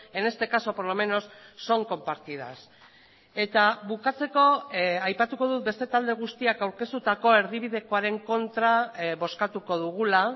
en este caso por lo menos son compartidas eta bukatzeko aipatuko dut beste talde guztiak aurkeztutako erdibidekoaren kontra bozkatuko dugula